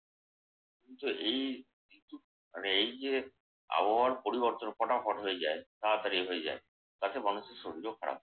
এই ঋতুর এই যে আবহাওয়ার পরিবর্তন ফটাফট হয়ে যায় তাড়াতাড়ি হয়ে যায়। তাতে মানুষের শরীরও খারাপ হয়